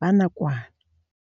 ba nakwana.